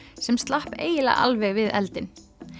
sem slapp eiginlega alveg við eldinn